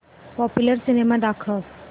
popular cinema दाखव